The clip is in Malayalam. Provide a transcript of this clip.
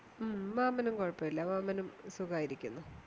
മ് മാമനും കൊഴപ്പല്യ മാമനും സുഖായിരിക്കുന്നു